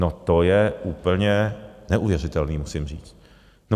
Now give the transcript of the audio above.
No, to je úplně neuvěřitelné, musím říct, no.